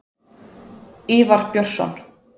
Ívar Björnsson.